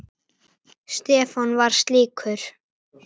Stefán var slíkur.